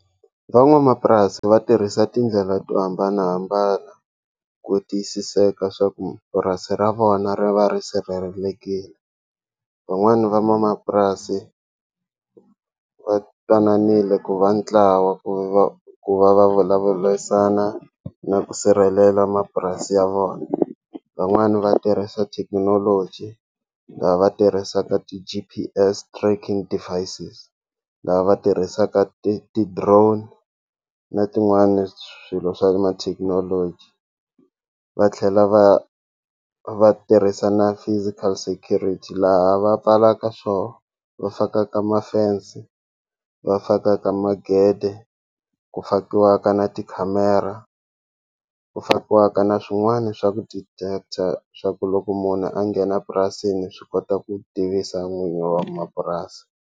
Van'wamapurasi va tirhisa tindlela to hambanahambana ku tiyisiseka swa ku purasi ra vona ri va ri sirhelelekile van'wani van'wamapurasi va twananile ku va ntlawa ku va ku va va vulavurisana na ku sirhelela mapurasi ya vona van'wani va tirhisa thekinoloji lava va tirhisaka ti-G_P_S tracking devices lava va tirhisaka ti ti-drone na tin'wani swilo swa ma thekinoloji va tlhela va va tirhisa na physical security laha va pfalaka va fakaka ma fence va fakaka magede ku fakiwaka na tikhamera ku fakiwaka na swin'wana swa ku detect-a swa ku loko munhu a nghena purasini swi kota ku tivisa n'wini wa mapurasi.